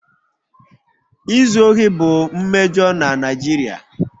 Izu ohi bụ mmejọ na Naijiria.